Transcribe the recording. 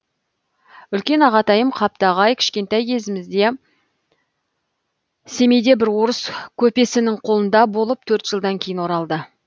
үлкен ағатайым қаптағай кішкентай кезімізде семейде бір орыс көпесінің қолында болып төрт жылдан кейін оралды